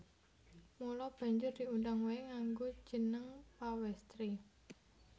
Mula banjur diundang waé nganggo jeneng Pawèstri